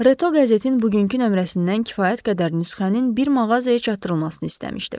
Reto qəzetin bugünkü nömrəsindən kifayət qədər nüsxənin bir mağazaya çatdırılmasını istəmişdi.